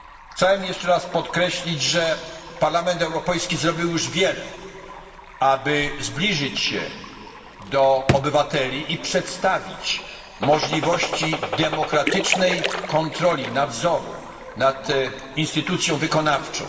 Chciałbym jeszcze raz podkreślić, że Parlament Europejski zrobił już wiele, aby zbliżyć się do obywateli i przedstawić możliwości demokratycznej kontroli, nadzoru nad instytucją wykonawczą.